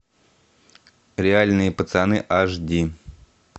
реальные пацаны аш ди